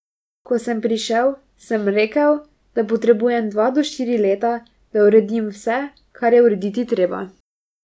Ko sem prišel, sem rekel, da potrebujem dva do štiri leta, da uredim vse, kar je urediti treba.